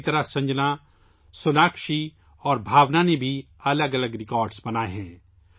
اسی طرح سنجنا، سوناکشی اور بھاؤنا نے بھی مختلف ریکارڈ بنائے ہیں